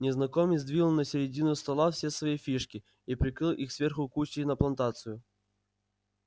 незнакомец двинул на середину стола все свои фишки и прикрыл их сверху купчей на плантацию